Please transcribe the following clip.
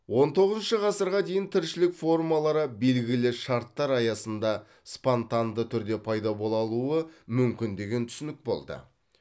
он тоғызыншы ғасырға дейін тіршілік формалары белгілі шарттар аясында спонтанды түрде пайда бола алуы мүмкін деген түсінік болды